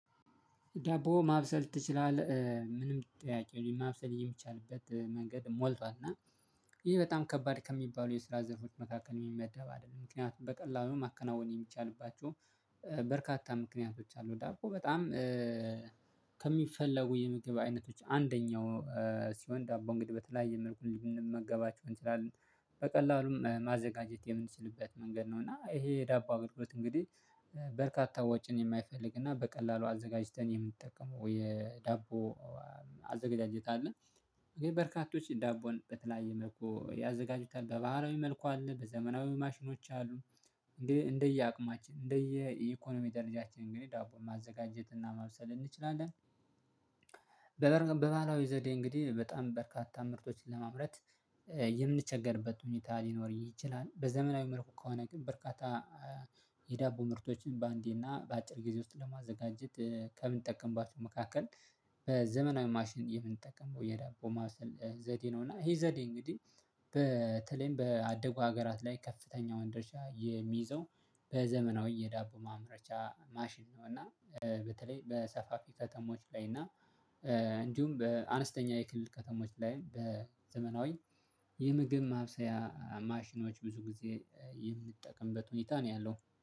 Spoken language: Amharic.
ዳቦ ማብሰል ትችላለህ? የሚል ጥያቂ ነው ማብሰል የሚቻልበት መንገድ ሞልቷል እና ይሄ በጣም ከባድ ከሚባሉ የስራ ዘርፎች መካከል የሚመደብ አይደለም ምክንያቱም በቀላሉ ማከናወን የሚቻልባቸው በርካታ ምክንያቶች አሉ። ዳቦ በጣም ከሚፈለጉ የምግብ አይነቶች አንደኛው ሲሆን ዳቦ እንግዲህ በተለያየ መልኩ ልንመገባቸው እንችላለን በቀላሉም ማዘጋጀት የምንችልበት መንገድ ነው እና ይሄ የዳቦ አገልግሎት እንግዲህ በርካታ ወጪን የማይፈልግ እና በቀላሉ አዘጋጅተን የምንጠቀመው የዳቦ አዘጋጃጀት አለ። በርካቶች ዳቦን በተለያየ መልኩ ያዘጋጁታል በባህላዊ መልኩ አለ በዘመናዊ ማሽኖች አሉ እንደ እንደየ አቅማችን እንደየ ኢኮኖሚ ደረጃችን እንግዲህ ዳቦን ማዘጋጀት እና ማብሰል እንችላለን። በባህላዊ ዘዴ እንግዲህ በጣም በርካታ ምርቶችን ለማምረት የምንቸገርበት ሁኔታ ሊኖር ይችላል። በዘመናዊ መልኩ ከሆነ ግን በርካታ የዳቦ ምርቶችን በአንዴ እና በአጭር ጊዜ ውስጥ ለማዘጋጀት ከምንጠቀምባቸው መካከል በዘመናዊ ማሽን የምንጠቀመው የዳቦ ማብሰል ዘዴ ነው። እና ይሄ ዘዴ እንግዲህ በተለይም በአደጉ ሀገራት ላይ ከፍተኛውን ድርሻ የሚይዘው በዘመናዊ የዳቦ ማምረቻ ማሽን ነው። እና በተለይ በሰፋፊ ከተሞች ላይ እና እንዲሁም በአነስተኛ የክልል ከተሞች ላይ በዘመናዊ የምግብ ማብሰያ ማሽኖች ብዙ ጊዜ የምንጠቀምበት ሁኔታ ነው ያለው